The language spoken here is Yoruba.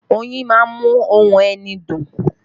Oyin má ń mú ohùn ẹni dùn